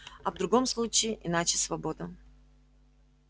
а в другом случае иначе свобода